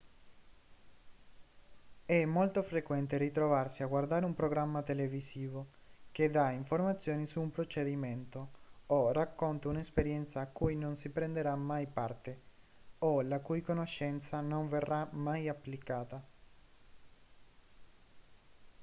è molto frequente ritrovarsi a guardare un programma televisivo che dà informazioni su un procedimento o racconta un'esperienza a cui non si prenderà mai parte o la cui conoscenza non verrà mai applicata